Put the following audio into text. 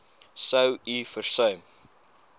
sou u versuim